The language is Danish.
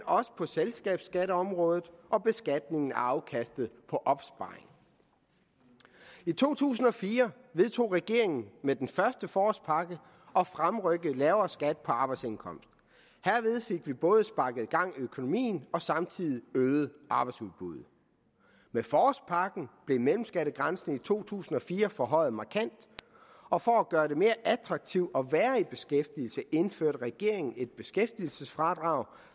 også på selskabsskatteområdet og beskatningen af afkastet på opsparing i to tusind og fire vedtog regeringen med den første forårspakke at fremrykke lavere skat på arbejdsindkomst herved fik vi både sparket gang i økonomien og samtidig øget arbejdsudbuddet med forårspakken blev mellemskattegrænsen i to tusind og fire forhøjet markant og for at gøre det mere attraktivt at være i beskæftigelse indførte regeringen et beskæftigelsesfradrag